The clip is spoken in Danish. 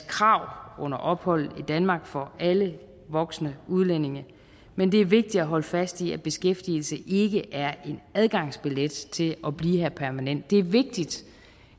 krav under opholdet i danmark for alle voksne udlændinge men det er vigtigt at holde fast i at beskæftigelse ikke er en adgangsbillet til at blive her permanent det er vigtigt